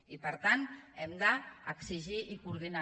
i per tant ho hem d’exigir i coordinar